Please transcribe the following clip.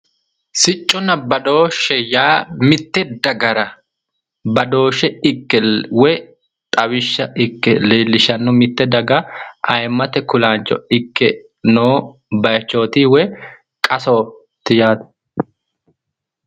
Sicconna badooshshe yaa mitte dagara badooshshe ikke woyi xawishsha ikke leellishanno mitte daga ayiimmate kulaancho ikke noo bayiichooti woyi qasooti yaate